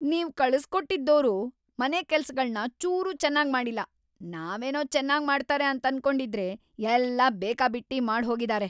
ನೀವ್‌ ಕಳಿಸ್ಕೊಟ್ಟಿದೋರು ಮನೆ ಕೆಲ್ಸಗಳ್ನ ಚೂರೂ ಚೆನ್ನಾಗ್‌ ಮಾಡಿಲ್ಲ. ನಾವೇನೋ ಚೆನ್ನಾಗ್‌ ಮಾಡ್ತಾರೆ ಅಂತನ್ಕೊಂಡಿದ್ರೆ ಎಲ್ಲ ಬೇಕಾಬಿಟ್ಟಿ ಮಾಡ್ಹೋಗಿದಾರೆ.